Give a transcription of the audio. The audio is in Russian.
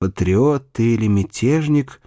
патриоты ты или мятежник